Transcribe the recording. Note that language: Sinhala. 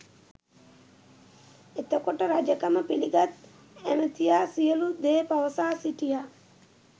එතකොට රජකම පිළිගත් ඇමතියා සියලූ දේ පවසා සිටියා